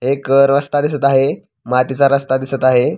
एक रस्ता दिसत आहे मातीचा रस्ता दिसत आहे.